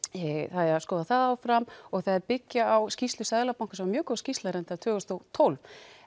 það eigi að skoða það áfram og þeir byggja á skýrslu Seðlabankans mjög góð skýrsla reyndar frá tvö þúsund og tólf